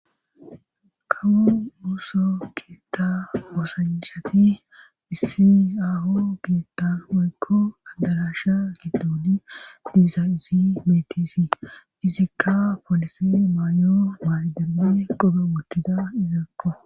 kawu uso kiita oosanshati dhissi aho giittan hoykko andarasha giddooni diisa isi metisi izikka polisi may7o maydali qope woottida izaakko